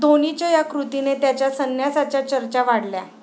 धोनीच्या 'या' कृतीने त्याच्या संन्यासाच्या चर्चा वाढल्या